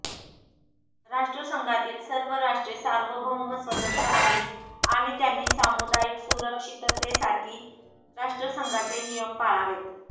राष्ट्रसंघातील सर्व राष्ट्रे सार्वभौम व स्वतंत्र्य आहेत आणि त्यांनी सामुदायिक सुरक्षिततेसाठी राष्ट्रसंघाचे नियम पाळावेत